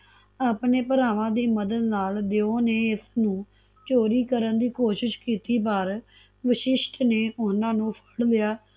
ਆਪਣੇ ਭਰਾਵਾਂ ਦੀ ਮਦਦ ਨਾਲ ਦਿਓ ਨੇ ਇਸਨੂੰ ਚੋਰੀ ਕਰਨ ਦੀ ਕੋਸ਼ਿਸ਼ ਕੀਤੀ ਪਰ ਵਸ਼ਿਸ਼ਟ ਨੇ ਓਹਨਾ ਨੂ ਫੜ ਲਿਆ